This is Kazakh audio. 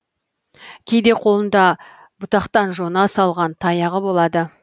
кейде қолында бұтақтан жона салған таяғы болады